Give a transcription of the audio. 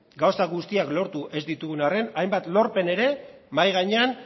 gauza guztiak lortu ez ditugun harren hainbat lorpen ere mahai gainean